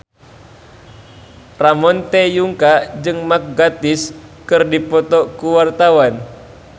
Ramon T. Yungka jeung Mark Gatiss keur dipoto ku wartawan